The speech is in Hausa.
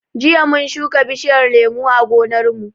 Jiya mun shuka bishiyar lemu a gonar mu